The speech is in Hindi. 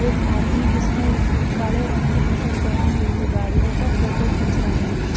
एक आदमी जिसने काले रंग की टी-शर्ट पहनी हुई है गाड़ियों का फोटो खींच रहा है।